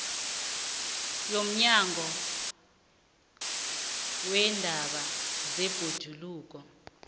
yomnyango weendaba zebhoduluko